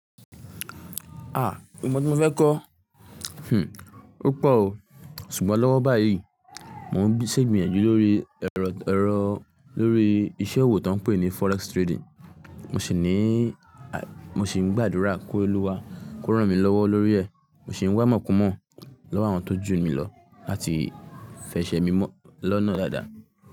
A! Mó tí mo fẹ́ kọ́? Hmn. Ó pọ̀ o. Ṣùgbọ́n lọ́wọ́ báyìí, mò ń ṣègbẹ́yànjú lórí ẹ̀rọ-ẹ̀rọ lórí isẹ́ òwò tó ń pè ní forex trading. Mo sì ní à mo sì ń gbàdúrà kí Olúwa kó rán mi lọ́wọ́ lórí ẹ̀. Mo sì ń wá ìmọ̀kùnmọ̀ lọ́wọ́ àwọn tó jù mí lọ láti fi ṣẹ mi mọ́ lọ́nà dáadáa.